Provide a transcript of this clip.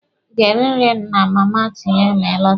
Ị ga-eri nri na Mama Tinye ma ị lọta?